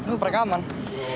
nú er bara gaman